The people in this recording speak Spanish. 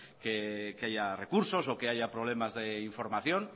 que haya recursos o que haya problemas de información